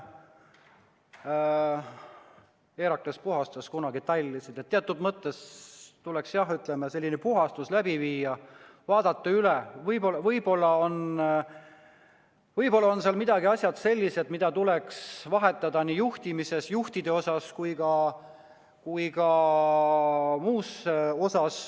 Herakles puhastas kunagi tallisid – teatud mõttes tuleks, jah, selline puhastus läbi viia, vaadata üle, võib-olla on seal midagi sellist, mida tuleks muuta nii juhtimises, juhtide osas, kui ka muus.